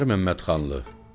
Ənvər Məmmədxanlı.